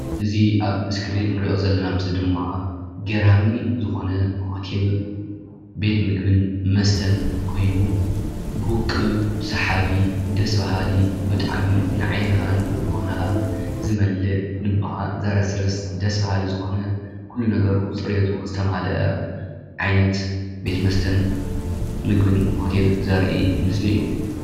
እዚ ኣብ እስክሪን ንሪኦ ዘለና ምስሊ ድማ ገራሚ ዝኾነ ሆቴል ቤት ምግብን መስተን ኮይኑ ብውቁብ ሰሓቢ፣ ደስ በሃሊ ብጣዕሚ ንዓይንኻን ልቦናኻን ዝመልእ፣ ልብኻ ዘረስርስ ደስ በሃሊ ዝኾነ፣ ኩሉ ነገሩ ፅሬቱ ዝተማልአ ዓይነት ቤት መስተን ምግብን ሆቴል ዘርኢ ምስሊ እዩ፡፡